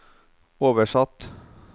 oversatt